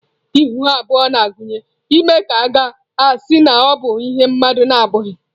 Ihu abụọ na-agụnye ime ka à ga-asị na ọ bụ ihe mmadụ na-abụghị.